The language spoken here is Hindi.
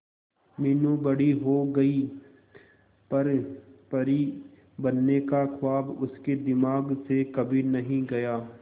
मीनू बड़ी हो गई पर परी बनने का ख्वाब उसके दिमाग से कभी नहीं गया